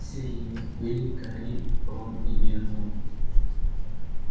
среди них были гарри рон и гермиона